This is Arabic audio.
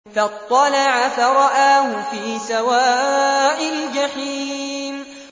فَاطَّلَعَ فَرَآهُ فِي سَوَاءِ الْجَحِيمِ